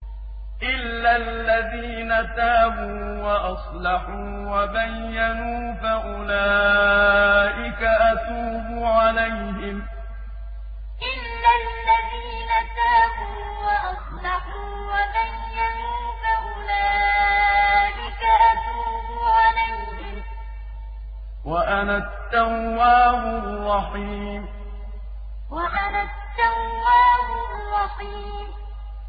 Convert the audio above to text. إِلَّا الَّذِينَ تَابُوا وَأَصْلَحُوا وَبَيَّنُوا فَأُولَٰئِكَ أَتُوبُ عَلَيْهِمْ ۚ وَأَنَا التَّوَّابُ الرَّحِيمُ إِلَّا الَّذِينَ تَابُوا وَأَصْلَحُوا وَبَيَّنُوا فَأُولَٰئِكَ أَتُوبُ عَلَيْهِمْ ۚ وَأَنَا التَّوَّابُ الرَّحِيمُ